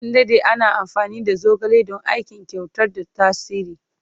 An dade ana amfani da zogale don aikin kwantar da tasiri.